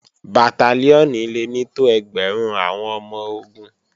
Bàtálíọ̀nì le ní tó ẹgbẹ̀rún àwọn ọmọ-ogun